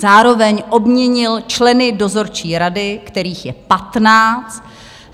Zároveň obměnil členy dozorčí rady, kterých je patnáct.